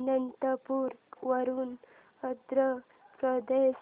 अनंतपुर वरून आंध्र प्रदेश